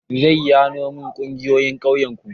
Zayyanomin ƙungiyoyin ƙauyen ku.